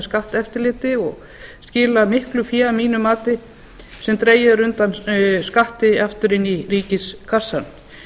skatteftirliti og skila miklu fé að mínu mati sem dregið er undan skatti aftur inn í ríkiskassann